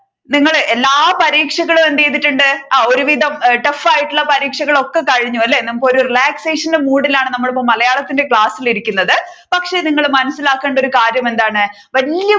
നിങ്ങൾ എല്ലാ പരീക്ഷകളും എന്ത് ചെയ്തിട്ടുണ്ട് ആ ഒരുവിധം ആയിട്ടുള്ള പരീക്ഷകൾ ഒക്കെ കഴിഞ്ഞു അല്ലെ നമ്മുക്ക് ഒരു relaxation മൂഡിലാണ് നമ്മൾ ഇപ്പൊ നമ്മൾ മലയാളത്തിന്റെ ക്ലാസിൽ ഇരിക്കുന്നത് പക്ഷെ നിങ്ങൾ മനസിലാക്കേണ്ട ഒരു കാര്യം എന്താണ് വലിയ